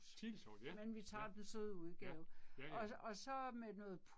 Chili sauce, ja, ja. Ja, ja ja